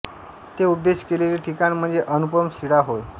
ते उपदेश केलेले ठिकाण म्हणजे अनुपम शिळा होय